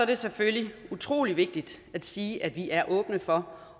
det selvfølgelig utrolig vigtigt at sige at vi er åbne for